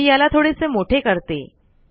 मी याला थोडेसे मोठे करते